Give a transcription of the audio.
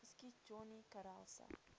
geskiet johnny karelse